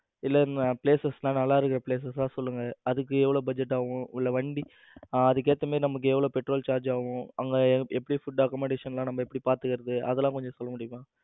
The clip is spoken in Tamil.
இல்ல places எல்லாம் நல்லா இருக்குற places சா சொல்லுங்க. அதுக்கு எவ்வளவு budget ஆகும். இல்ல வண்டி அதுக்கு ஏத்த மாதிரி நமக்கு எவ்வளவு petrol charge ஆகும் அங்க எப்படி food accommodation எல்லாம் நம்ம எப்படி பாத்துக்குறது. அதெல்லாம் கொஞ்சம் சொல்ல முடியுமா